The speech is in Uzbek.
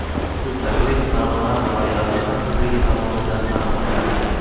Ushbu taklif Farg‘ona viloyati hokimligi tomonidan ma’qullandi.